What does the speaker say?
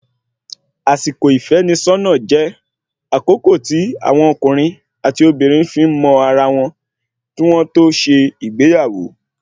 Àsìkò ìfẹ́nisọ́nà jẹ́ àkókò tí àwọn ọkùnrin àti obìnrin fi ń mọ ara wọn, kí wọ́n tó ṣe ìgbéyàwó